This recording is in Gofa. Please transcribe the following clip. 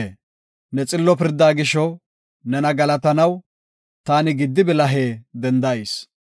Ne xillo pirda gisho, nena galatanaw, taani gidi bilahe dendayis.